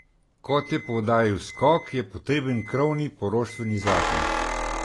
Kot je poudaril Skok, je potreben krovni poroštveni zakon.